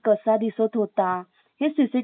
CCTV footage मध्ये,